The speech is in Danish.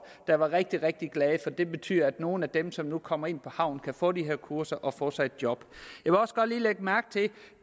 der var rigtig rigtig glade for det betyder at nogle af dem som nu kommer ind på havnen kan få de her kurser og få sig et job